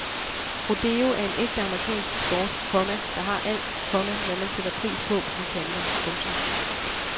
Rodeo er en ægte amerikansk sport, komma der har alt, komma hvad man sætter pris på på de kanter. punktum